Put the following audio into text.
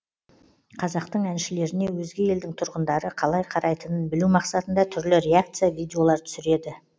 қазақтың әншілеріне өзге елдің тұрғындары қалай қарайтынын білу мақсатында түрлі реакция видеолар түсіреді